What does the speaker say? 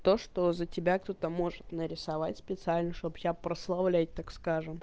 то что за тебя кто то может нарисовать специально чтобы тебя прославлять так скажем